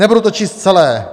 Nebudu to číst celé.